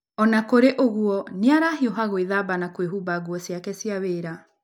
O na kũrĩ ũguo, nĩ arahiũha gwĩthamba na kwĩhumba nguo ciake cia wĩra.